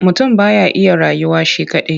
Mutum ba ya iya rayuwa shi kaɗai.